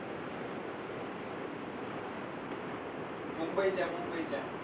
मुंबईच्या, मुंबईच्या.